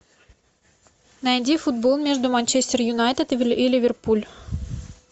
найди футбол между манчестер юнайтед и ливерпуль